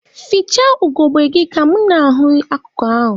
Fichaa ugogbe gị ka mụ na-ahụ akụkụ ahụ!